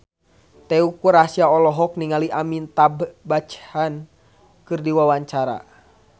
Teuku Rassya olohok ningali Amitabh Bachchan keur diwawancara